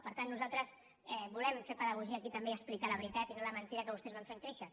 per tant nosaltres volem fer pedagogia aquí també i explicar la veritat i no la mentida que vostès van fent créixer